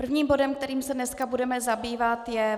Prvním bodem, kterým se dnes budeme zabývat, je